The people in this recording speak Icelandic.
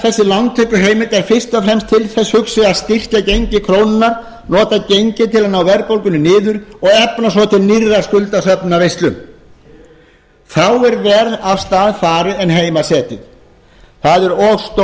þessi lántökuheimild er fyrst og fremst til þess hugsuð að styrkja gengi krónunnar nota gengið til að ná verðbólgunni niður og efna svo til nýrrar skuldasöfnunarveislu þá er verr af stað farið en heima setið það